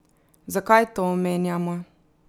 Zakaj to omenjamo?